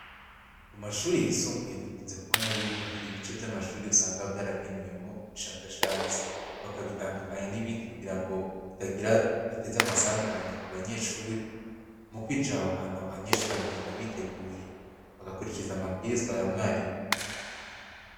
Mu mashure yisumbuye dukunze kubona yuko hari ibice vy'amashure usanga vyaragenewemwo ubushakashatsi, bakabitandukanya n'ibindi kugira ngo bitagira biteze amasanganya ku banyeshure mu kwinjira aho hantu abanyeshure bakagenda biteguye bagakurikiza amabwirizwa ya mwarimu.